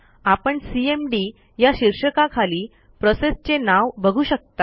आपण सीएमडी या शीर्षकाखाली प्रोसेसचे नाव बघू शकता